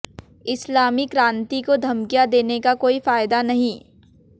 इस्लामी क्रान्ति को धमकियां देने का कोई फ़ायदा नहीं